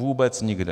Vůbec nikde.